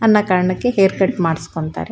ಅನ್ನ ಕಾರಣಕ್ಕೆ hair cut ಮಾಡಿಸ್ಕೊಂತ್ತರೆ.